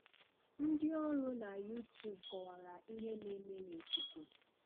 Ndị ọrụ na Youtube kọwara ihe na-eme na ikuku.